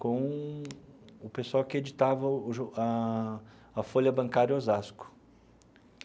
com o pessoal que editava o jo a a Folha Bancária Osasco.